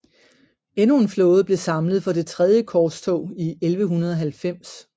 Endnu en flåde blev samlet for det tredje korstog i 1190